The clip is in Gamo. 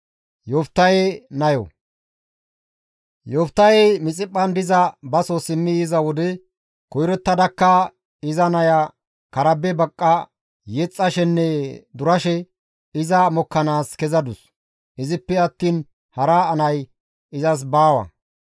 Yoftahey Mixiphphan diza baso simmi yiza wode koyrottada iza naya karabe baqqa yexxashenne durashe iza mokkanaas kezadus; izippe attiin hara nay izas baawa.